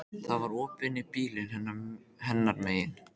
Það var opið inn í bílinn hennar megin.